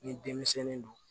Ni denmisɛnnin don